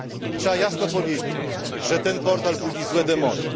Trzeba jasno powiedzieć, że ten portal budzi złe demony.